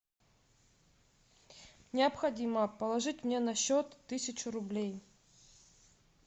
необходимо положить мне на счет тысячу рублей